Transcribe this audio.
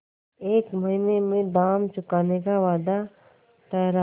एक महीने में दाम चुकाने का वादा ठहरा